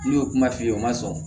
N'u y'o kuma f'i ye o ma sɔn